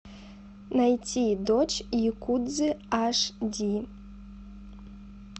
найти дочь якудзы аш ди